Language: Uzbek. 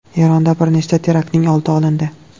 Eronda bir nechta teraktning oldi olindi.